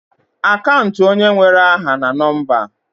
Akant onye nwere aha na nọmba.